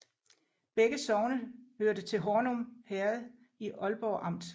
Begge sogne hørte til Hornum Herred i Ålborg Amt